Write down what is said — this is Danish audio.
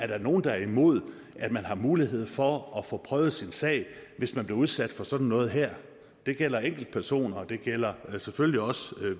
der er nogen der er imod at man har mulighed for at få prøvet sin sag hvis man bliver udsat for sådan noget her og det gælder enkeltpersoner og det gælder selvfølgelig også